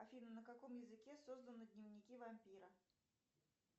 афина на каком языке созданы дневники вампира